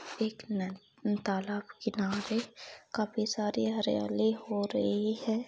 एक न तालाब किनारे काफी सारी हरियाली हो रही है।